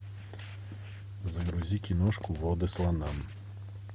загрузи киношку воды слонам